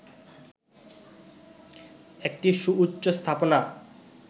একটি সুউচ্চ স্থাপনা